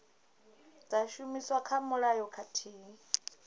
dza shumiswa kha mulayo khathihi